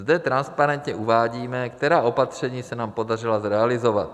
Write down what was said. Zde transparentně uvádíme, která opatření se nám podařila zrealizovat.